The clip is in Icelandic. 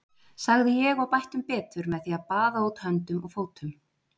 sagði ég og bætti um betur með því að baða út höndum og fótum.